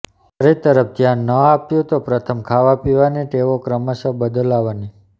શરીર તરફ ધ્યાન ન આપ્યું તો પ્રથમ ખાવાપીવાની ટેવો ક્રમશઃ બદલવાની